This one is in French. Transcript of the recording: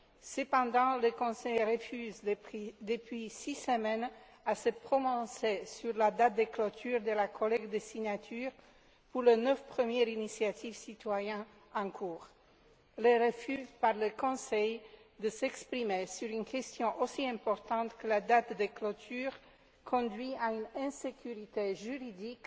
Cependant, le Conseil refuse depuis six semaines de se prononcer sur la date de clôture de la collecte des signatures pour les neuf premières initiatives citoyennes en cours. Le refus du Conseil de s'exprimer sur une question aussi importante que la date de clôture conduit à une insécurité juridique